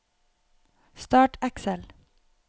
Start Excel